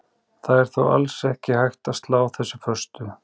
Það er þó alls ekki hægt að slá þessu föstu.